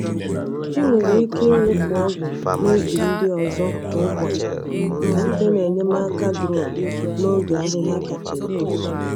Ị nwere ike ịwụpụ ọgwụ n’ubi ndị ọzọ kwa ụbọchị site na enyemaka drone n’oge ahịhịa kacha eto.